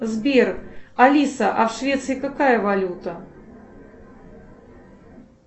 сбер алиса а в швеции какая валюта